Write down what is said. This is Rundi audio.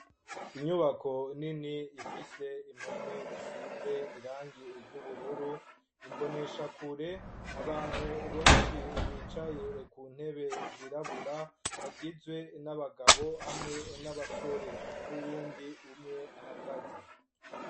Inyubako nini, ifise impome zisize, irangi ry'ubururu; imboneshakure, abantu benshi, bicaye ku ntebe zirabura, bagizwe n'abagabo, hamwe n'abasore, n'uwundi umwe ahagaze.